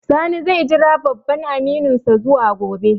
Sani zai jira babban amininsa zuwa gobe